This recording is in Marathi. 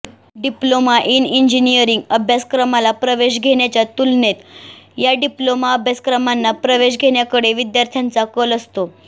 डिप्लोमा इन इंजिनीअरिंग अभ्यासक्रमाला प्रवेश घेण्याच्या तुलनेत या डिप्लोमा अभ्यासक्रमांना प्रवेश घेण्याकडे विद्यार्थ्यांचा कल असतो